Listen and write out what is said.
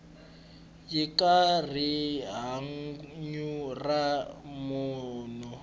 yi aka rihanyu ra munhu